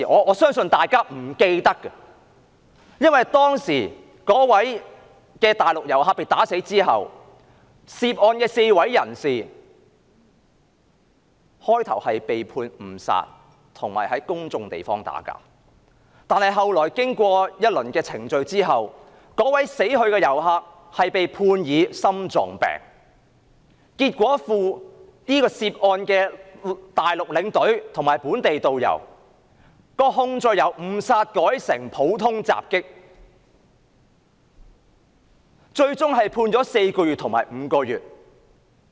我相信大家可能不記得，那位內地遊客被毆打致死，涉案的4名人士最初被判誤殺及在公眾地方打鬥，後來經過一輪程序，死去的遊客被裁定心臟病致死，結果涉案的內地領隊及本地導遊的控罪由誤殺改為普通襲擊，最終被判監禁4個月及5個月。